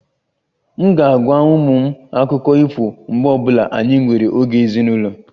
M ga-agwa ụmụ m akụkọ ifo mgbe ọ bụla anyị nwere oge ezinụlọ